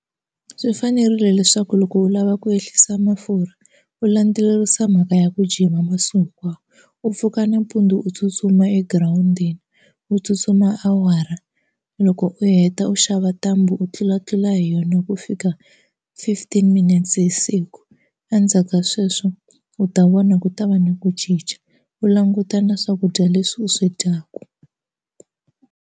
Swi fanerile leswaku loko u lava ku ehlisa mafurha u landzelerisa mhaka ya ku jima masiku hinkwawo, u pfuka nampundzu u tsutsuma egirawundini u tsutsuma awara loko u heta u xava ntambu u tlulatlula hi yona ku fika fifteen minutes hi siku endzhaku ka sweswo u ta vona ku ta va na ku cinca u languta na swakudya leswi u swi dyaka.